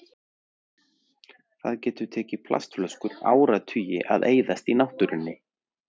Það getur tekið plastflöskur áratugi að eyðast í náttúrunni.